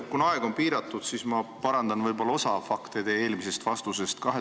Kuna aeg on piiratud, siis ma parandan osa fakte teie eelmisest vastusest.